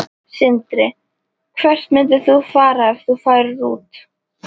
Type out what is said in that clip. Sindri: Hvert myndir þú fara ef þú færir út?